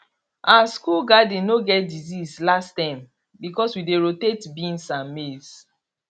our school garden no get disease last term because we dey rotate beans and maize